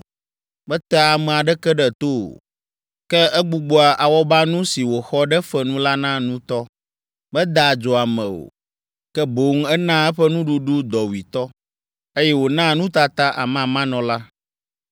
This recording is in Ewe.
Metea ame aɖeke ɖe to o. Ke egbugbɔa awɔbanu si wòxɔ ɖe fe nu la na nutɔ. Medaa adzo ame o, ke boŋ enaa eƒe nuɖuɖu dɔwuitɔ, eye wònaa nutata amamanɔla.